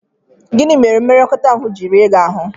Gịnị mere mmekọahụ ji rie gị ahụ́?